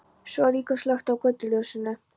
Svo er líka slökkt á götuljósinu.